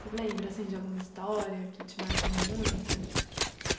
Você lembra, assim, de alguma história que te marcou muito?